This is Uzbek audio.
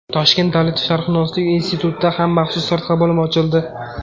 Toshkent davlat sharqshunoslik institutida ham maxsus sirtqi bo‘lim ochildi.